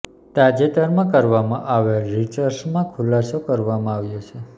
તાજેતરમાં કરવામાં આવેલ રિસર્ચમાં આ ખુલાસો કરવામાં આવ્યો છે